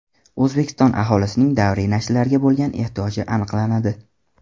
O‘zbekiston aholisining davriy nashrlarga bo‘lgan ehtiyoji aniqlanadi.